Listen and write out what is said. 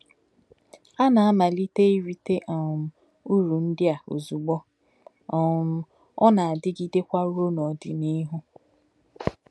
Á nā-ámálítè̄ írịtè̄ um ùrù̄ ndí̄ à ozú̄gbò, um ọ̀ nā-ádí̄gí̄dè̄kwá̄ rūō n’ò̄dí̄níhù̄. um